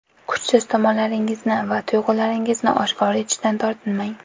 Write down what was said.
Kuchsiz tomonlaringizni va tuyg‘ularingizni oshkor etishdan tortinmang.